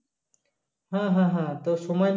হ্যা হ্যা হ্যা তো সময়